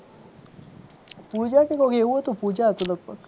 પૂજા કે કોક એવું હતું પૂજા હતું લગભગ